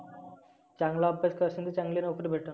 चांगला अभ्यास करशील तर चांगली नोकरी भेटल.